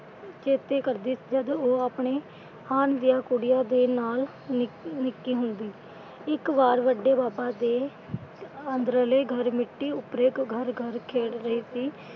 ਚੇਤੇ ਕਰਦੀ ਜਦੋਂ ਉਹ ਆਪਣੇ ਹਾਣ ਦੀਆਂ ਕੁੜੀਆਂ ਦੇ ਨਾਲ ਨਿੱਕੀ ਨਿੱਕੀ ਹੁੰਦੀ। ਇੱਕ ਵਾਰ ਵੱਡੇ ਬਾਬਾ ਦੇ ਅੰਦਰਲੇ ਘਰ ਮਿੱਟੀ ਉੱਪਰ ਇੱਕ ਘਰ ਘਰ ਖੇਲ੍ਹ ਰਹੀ ਸੀ।